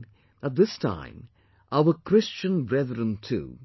We have seen that this time our Christian brethren too